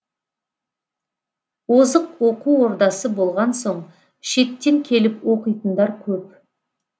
озық оқу ордасы болған соң шеттен келіп оқитындар көп